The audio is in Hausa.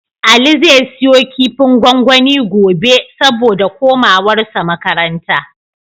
Ali zai siyo kifin gwangwani gobe, saboda komawarsa makaranta.